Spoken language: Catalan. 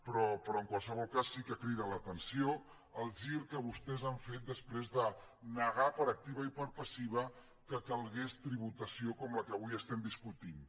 però en qualsevol cas sí que crida l’atenció el gir que vostès han fet després de negar per activa i per passiva que calgués tributació com la que avui estem discutint